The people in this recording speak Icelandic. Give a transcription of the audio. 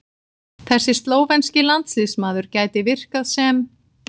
Þessi slóvenski landsliðsmaður gæti virkað sem